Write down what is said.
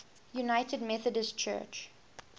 united methodist church